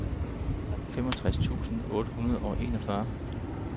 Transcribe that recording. femogtres tusind otte hundrede og enogfyrre